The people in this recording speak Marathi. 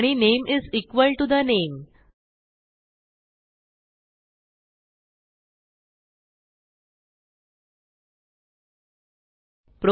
आणि name is equal to the name